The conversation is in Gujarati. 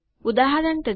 ઉદાહરણ તરીકે